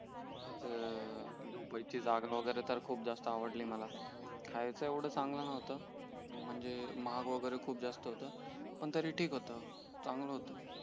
झोपायची जागा वगैरे तर खूप जास्त आवडली मला खायचं येवडा चांगलं नव्हतं म्हणजे महाग वगैरे खूप जास्त होत पण तरी ठीक होत चांगला होत